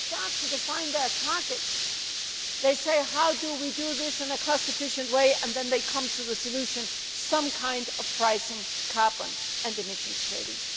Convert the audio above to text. When they start to define their targets they ask how to do this in a cost efficient way, and then they come to the solution of having some kind of pricing of carbon and emissions trading.